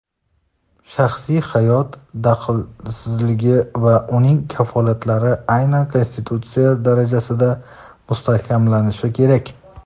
shaxsiy hayot daxlsizligi va uning kafolatlari aynan Konstitutsiya darajasida mustahkamlanishi kerak.